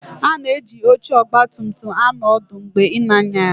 A na-eji oche ọgba tum tum na-anọ ọdụ mgbe ị na-anya ya